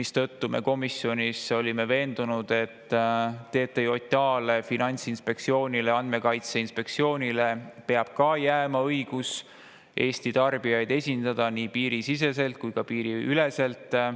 Seetõttu me olime komisjonis veendunud, et ka TTJA-le, Finantsinspektsioonile ja Andmekaitse Inspektsioonile peab jääma õigus esindada Eesti tarbijaid nii piirisiseselt kui ka piiriüleselt.